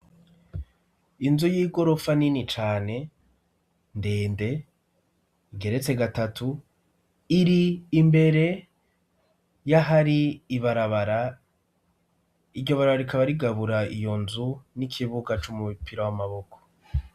Inzu y'igorofa nini cane ndende igeretse gatatu iri imbere y'ah ari ibarabara iryo barara rikaba rigabura iyo nzu n'ikibuga c'umu bipira w'amaboko.